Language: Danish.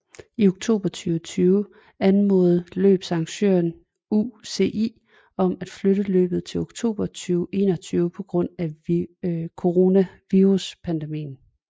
I oktober 2020 anmodede løbsarrangøren UCI om at flytte løbet til oktober 2021 på grund af coronaviruspandemien